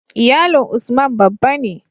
Iyalin Usman babba ne